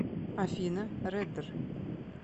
афина реддер